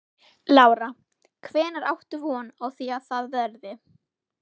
Lára: Hvenær áttu von á því að það verði?